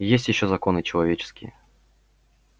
есть ещё законы человеческие